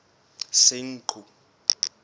senqu